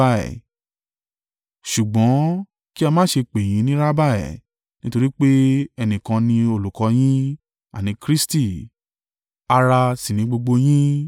“Ṣùgbọ́n kí a má ṣe pè yín ni Rabbi, nítorí pé ẹnìkan ni Olùkọ́ yín, àní Kristi, ará sì ni gbogbo yín.